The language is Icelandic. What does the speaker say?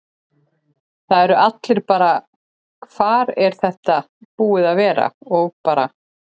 Það eru allir bara: Hvar er þetta búið að vera? og bara.